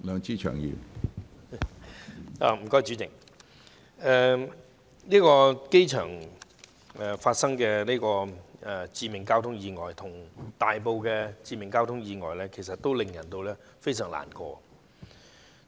主席，這宗涉及機場員工的致命交通意外與大埔一宗致命交通意外皆令人相當難過。